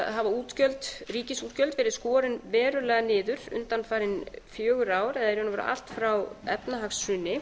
hafa ríkisútgjöld verið skorin verulega niður undanfarin fjögur ár eða í raun og veru allt frá efnahagshruni